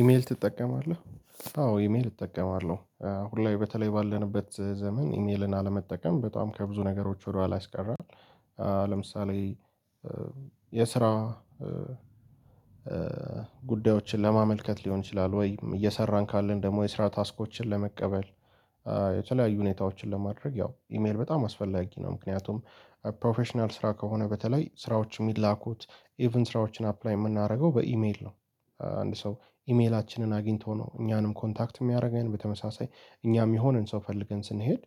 ኢሜል ትጠቀማለህ አዎ ኢሜል እጠቀማለሁ አሁን ላይ በተለይ ባለንበት ዘመን ኢሜልን አለመጠቀም በጣም ከብዙ ነገሮች ወደኋላ ያስቀራል ለምሳሌ የስራ ጉዳዮችን ለማመልከት ሊሆን ይችላል ወይም እየሰራን ካለን ደግሞ የስራ ታስኮችን ለመቀበል የተለያዩ ሁኔታዎችን ለማድረግ ያው ኢሜል በጣም አስፈላጊ ነው ምክንያቱም ፕሮፌሽናል ስራ ከሆነ በተለይ ስራዎች የሚላኩት ኢቭን ስራዎችን አፕላይ የምናደርገው በኢሜል ነው አንድ ሰው ኢሜላችንን አግኝቶ ነው እኛንም ኮንታክት የሚያደርገን በተመሳሳይ እኛም የሚሆንን ሰው ፈልገን ስንሄድ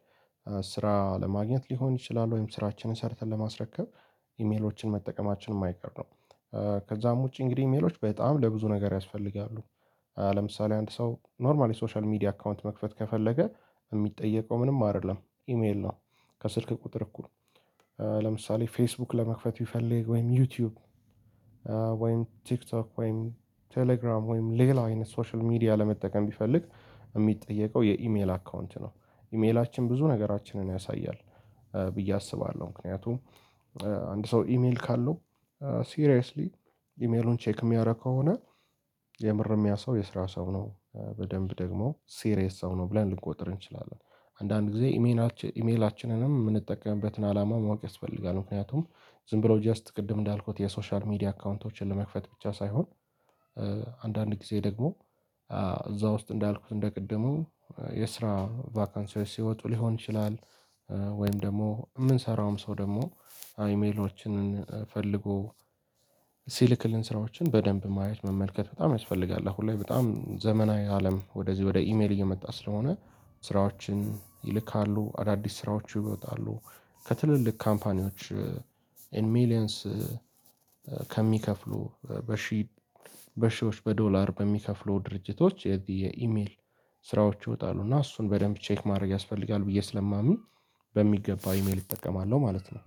ስራ ለማግኘት ሊሆን ይችላል ወይም ስራችንን ሰርተን ለማስረከብ ኢሜሎችን መጠቀማችን የማይቀር ነው ከዛም ውጪ እንግዲህ ኢሜሎች በጣም ለብዙ ነገር ያስፈልጋሉ ለምሳሌ አንድ ሰው ኖርማሊ ሶሻል ሚዲያ አካውንት መክፈት ከፈለገ የሚጠየቀው ምንም አይደለም ኢሜል ነው ከስልክ ቁጥር እኩል ለምሳሌ ፌስቡክ ለመክፈት ቢፈልግ ወይም ዩቲዩብ ወይም ቲክቶክ ወይም ቴሌግራም ወይም ሌላው አይነት ሶሻል ሚዲያ ለመጠቀም ቢፈልግ የሚጠየቀው የኢሜል አካውንት ነው ኢሜላችን ብዙ ነገራችንን ያሳያል ብዬ አስባለሁ ምክንያቱም አንድ ሰው ኢሜል ካለው ሲሪየስሊ ኢሜሉን ቼክ የሚያደርግ ከሆነ የምር የሚያሳው የስራ ሰው ነው በደንብ ደግሞ ሲሪየስ ሰው ነው ብለን ልንቆጥር እንችላለን አንዳንድ ጊዜ ኢሜላችንንም የምንጠቀምበትን አላማ ማወቅ ያስፈልጋል ምክንያቱም ዝም ብሎ ጀስት ቅድም እንዳልኩት የሶሻል ሚዲያ አካውንቶችን ለመክፈት ብቻ ሳይሆን አንዳንድ ጊዜ ደግሞ እዛ ውስጥ እንዳልኩት እንደ ቅድሙ የስራ ቫካንሲዎች ሲወጡ ሊሆን ይችላል ወይም ደግሞ የምንሰራውም ሰው ደግሞ አይሜሎችንን ፈልጎ ሲልክልን ስራዎችን በደንብ ማየት መመልከት በጣም ያስፈልጋል አሁን ላይ በጣም ዘመናዊ አለም ወደዚህ ወደ ኢሜል እየመጣ ስለሆነ ስራዎችን ይልካሉ አዳዲስ ስራዎች ይወጣሉ ከትልልቅ ካምፓኒዎች ኤንድ ሚሊየንስ ከሚከፍሉ በሺህ በሺዎች በዶላር በሚከፍሉ ድርጅቶች የኢሜል ስራዎች ይወጣሉ እና እሱን በደንብ ቼክ ማድረግ ያስፈልጋል ብዬ ስለማምን በሚገባ ኢሜል እጠቀማለሁ ማለት ነው።